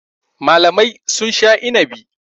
Malamai sun sha inabi.